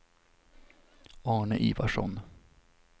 Arne Ivarsson